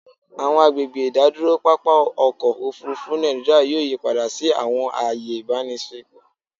Awọn agbegbe idaduro papa ọkọ ofurufu Naijiria yoo yipada si awọn aaye ibaraenisepo